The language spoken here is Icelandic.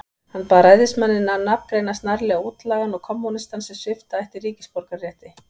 Hann bað ræðismanninn að nafngreina snarlega útlagann og kommúnistann, sem svipta ætti ríkisborgararétti.